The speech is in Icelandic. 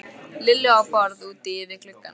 Lillu á borð úti við gluggann.